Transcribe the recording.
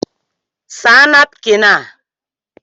Saa napkin a!!